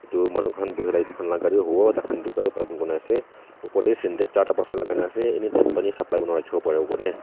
etu manu khan buhey la etu khan la gari huwo takhan etu gari parking kurna asey opor deh sintex charta pasta lagaina asey anytime pani supply kurna rakhiwo pariwo kurneh.